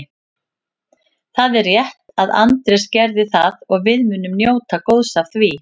Það er rétt að Andrés gerði það og við munum njóta góðs af því.